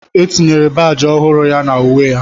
E tinyere baajị ọhụrụ ya na uwe ya